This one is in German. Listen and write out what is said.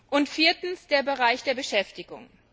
Und viertens der Bereich der Beschäftigung.